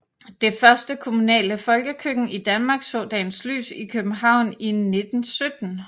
Det første kommunale folkekøkken i Danmark så dagens lys i København i 1917